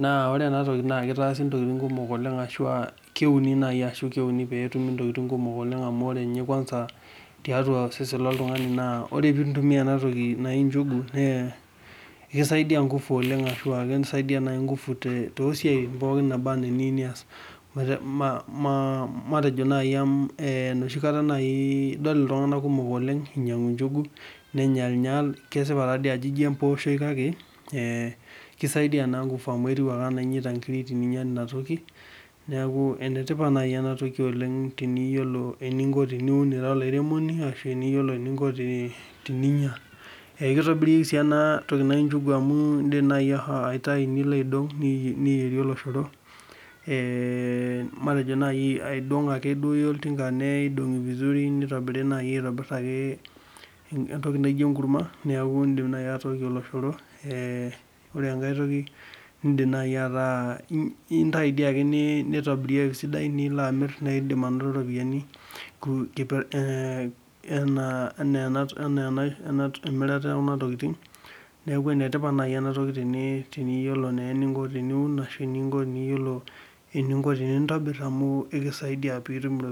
Naa wore enatoki naa kitaasi intokitin kumok oleng' ashu aa keuni naaji ashu keuni pee etumi intokitin kumok oleng' amu wore ninye kwansa tiatua osesen loltungani naa wore pee itu intumiyia ena toki naji njugu naa ekisaidia nguvu oleng' ashua ekisaidia naai nguvu toosiatin pookin naaba enaa iniyieu nias, matejo nai enoshi kata nai idol iltunganak kumok oleng' inyiangu njugu, nenyalnyal, Kesipa taadi ajo ijo embooshoi kake , kisaidia naa nguvu amu etiu ake enaa inyaita inkirik, teninya enatoki, neeku enetipat naaji enatoki oleng' teneyiolo eninko teniun ira olairemoni ashu eniyiolo eninko teninya. Ekitobiri sii enatoki naji njugu amu iindim naaji aitayu nilo aidong, niyierie oloshoro, matejo nai aidong ake iyia oltinga nidongi vizuri, nitobiri nai aitobirr ake entoki naijo enkurma, neeku iindim naai atookie oloshoro. Wore enkae toki, iindim naai ataa intayu diake nitobirieki isidan naa ilo amirr, naidim ainoto iropiyani, enaa emirata ekuna tokitin, neeku enetipat naai enatoki teniyiolo naa eninko teniun ashu teniyiolo eninko tenintobir amu ekisaidia pee itum iropiyani